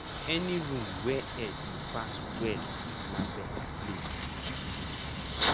any room wey air dey pass well na better place to keep food.